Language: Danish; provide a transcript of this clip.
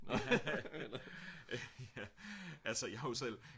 haha ja altså jeg er jo selv